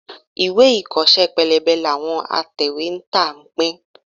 Ìwé ìkọ́ṣẹ́ pélébé làwọn atẹ̀wétà ń pín.